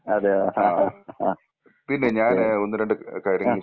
അതെയോ ആ ആ ഓക്കെ ആ.